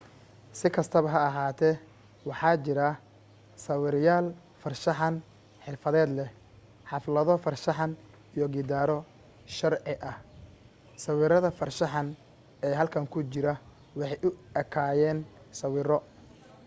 si kastaba ha ahaatee waxa jira sawirlayaal farshaxan xirfadleh xaflado farshaxan iyo gidaaro sharci ah sawirada farshaxan ee halkan ku jira waxay u ekaayeen sawiro